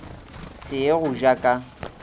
se ye go ja ka